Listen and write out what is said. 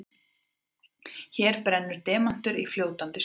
Hér brennur demantur í fljótandi súrefni.